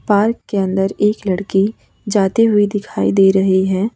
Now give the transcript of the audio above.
के अंदर एक लड़की जाती हुई दिखाई दे रही है।